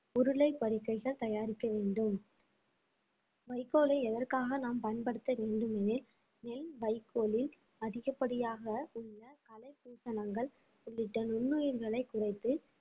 உருளைப் படுக்கைகள் தயாரிக்க வேண்டும் வைக்கோலை எதற்காக நாம் பயன்படுத்த வேண்டும் எனில் நெல் வைக்கோலில் அதிகப்படியாக உள்ள கலைபூசணங்கள் உள்ளிட்ட நுண்ணுயிர்களை குறைத்து